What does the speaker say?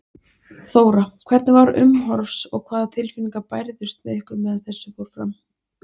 Þóra: Hvernig var umhorfs og hvaða tilfinningar bærðust með ykkur meðan þessu fór fram?